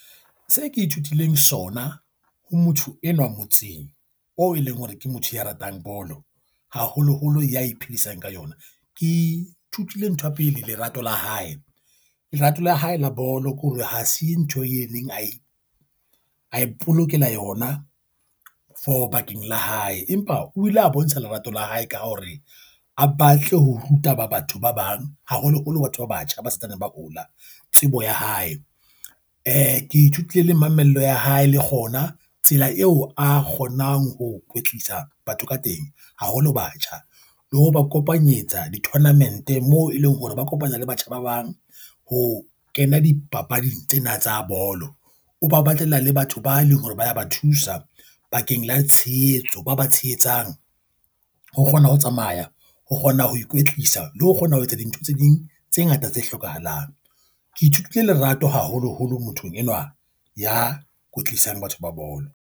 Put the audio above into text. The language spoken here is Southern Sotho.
Se ke ithutileng sona ho motho enwa motseng oo e leng hore ke motho ya ratang bolo, haholoholo ya iphedisang ka yona. Ke ithutile ntho ya pele. Lerato la hae, lerato la hae la bolo ke hore ha se ntho e leng ae a ipolokela yona for bakeng la hae. Empa o ile a bontsha lerato la hae ka ho hore a batle ho ruta ba batho ba bang haholoholo batho ba batjha ba santsane ba hola. Tsebo ya hae. Eh, ke ithutile le mamello ya hae, le kgona tsela eo a kgonang ho kwetlisa batho ka teng haholo batjha. Le ho ba kopanyetsa di-tournament moo e leng hore ba kopana le batjha ba bang ho kena dipapading tsena tsa bolo. O ba batlela le batho ba leng hore ba ya ba thusa bakeng la tshehetso ba ba tshehetsang ho kgona ho tsamaya, ho kgona ho ikwetlisa le ho kgona ho etsa dintho tse ding tse ngata tse hlokahalang. Ke ithutile lerato haholoholo mothong enwa ya kwetlisang batho ba bolo.